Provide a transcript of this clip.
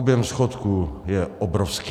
Objem schodku je obrovský.